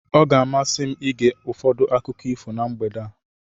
Ọ ga-amasị m ige ụfọdụ akụkọ ifo na mgbede a.